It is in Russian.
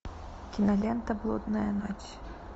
кинолента блудная ночь